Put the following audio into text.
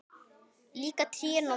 Líka trén og mamma.